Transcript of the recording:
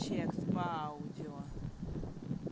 текст по аудио